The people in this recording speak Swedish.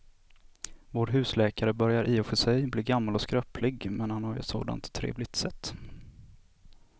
Vår husläkare börjar i och för sig bli gammal och skröplig, men han har ju ett sådant trevligt sätt!